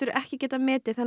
trúverðugleika